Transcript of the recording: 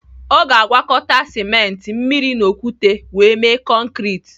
Ọ ga-agwakọta simenti, mmiri na okwute wee mee konkrit.